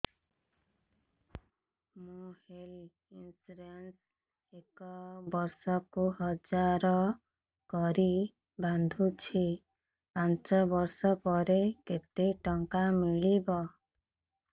ମୁ health insurance ଏକ ବର୍ଷକୁ ହଜାର କରି ବାନ୍ଧୁଛି ପାଞ୍ଚ ବର୍ଷ ପରେ କେତେ ଟଙ୍କା ମିଳିବ